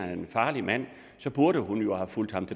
er en farlig mand burde hun jo have fulgt ham